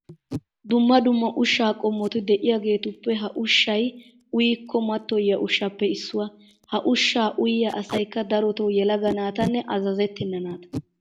Dumma dumma ushshaa qommoti de'iyageetuppe ha ushshay uyikko mattoyiya ushshaappe issuwa. Ha ushshaa uyiya asaykka darotoo yelaga naatanne azazetttenna naata.